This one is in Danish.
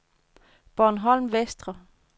Bornholm Vestre